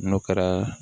N'o kɛra